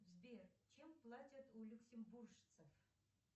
сбер чем платят у люксембуржцев